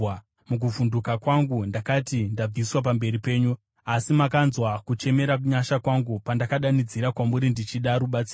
Mukuvhunduka kwangu, ndakati, “Ndabviswa pamberi penyu!” Asi makanzwa kuchemera nyasha kwangu pandakadanidzira kwamuri ndichida rubatsiro.